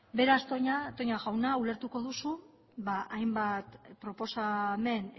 beraz toña jauna ulertuko duzu hainbat proposamen